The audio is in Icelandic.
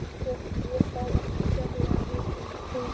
Svo ég sá ekki sérlega mikið í kringum mig.